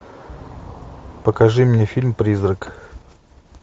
покажи мне фильм призрак